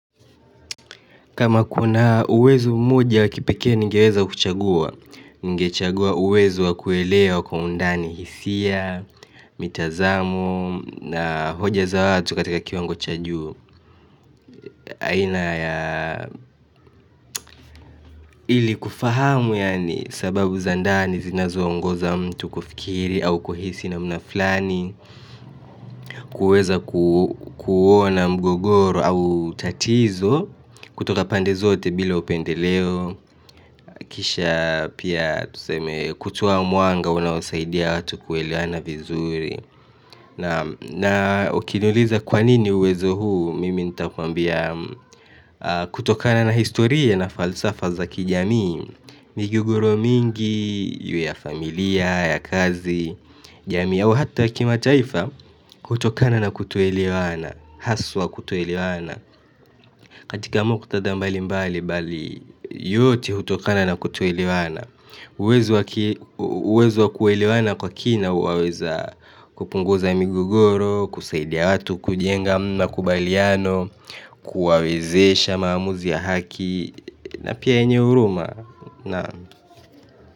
Kama kuna uwezo mmoja wa kipekee ningeweza kuchagua, ningechagua uwezo wa kuelewa kwa undani hisia, mitazamo, na hoja za watu katika kiwango cha juu. Aina ya ili kufahamu yaani sababu za ndani zinazoongoza mtu kufikiri au kuhisi namna fulani kuweza kuona mgogoro au tatizo kutoka pande zote bila upendeleo kisha pia kutoa mwanga unaosaidia watu kuelewana vizuri na ukiniuliza kwa nini uwezo huu mimi nitakuambia kutokana na historia na falsafa za kijamii migogoro mingi, iwe ya familia, ya kazi, jamii hata ya kimataifa hutokana na kutoelewana, haswa kutoelewana katika mkutadha mbali mbali yote hutokana na kutoelewana uwezo wa kuelewana kwa kina waweza kupunguza migogoro, kusaidia watu, kujenga makubaliano, kuwawezesha maamuzi ya haki na pia yenye huruma.